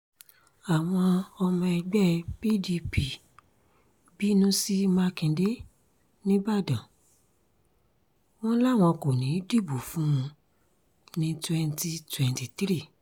àwọn ọmọ ẹgbẹ́ pdp bínú sí mákindè nígbàdàn wọn làwọn kò ní í dìbò fún un ní twenty twenty three